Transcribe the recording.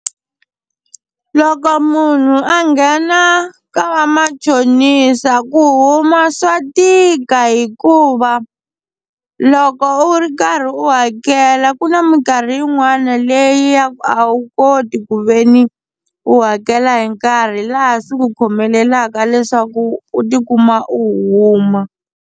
Loko munhu a nghena ka va machonisa ku huma swa tika hikuva loko u ri karhi u ya ku tlhela ku na minkarhi yin'wana leyi ya ku a wu koti ku ve ni u hakela hi nkarhi laha swi ku khomeleleka leswaku u tikuma u huma.